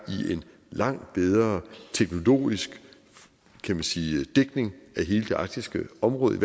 i en langt bedre teknologisk kan man sige dækning af hele det arktiske område i